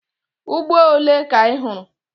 Ugbo ole ka ị hụrụ?